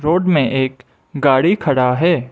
Road में एक गाड़ी खड़ा है।